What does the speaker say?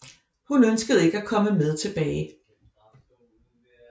Hun ønsker ikke at komme med tilbage